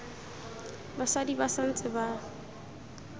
basadi ba sa ntse ba